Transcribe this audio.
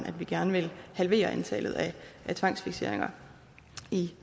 at vi gerne vil halvere antallet af tvangsfikseringer